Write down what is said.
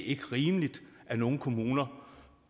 ikke rimeligt at nogle kommuner